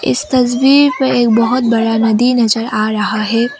इस तस्वीर पे एक बहोत बड़ा नदी नजर आ रहा है।